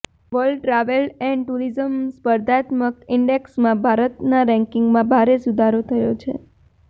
world travel and tourism સ્પર્ધાત્મક ઇન્ડેક્સમાં ભારતના રેન્કિંગમાં ભારે સુધારો થયો છે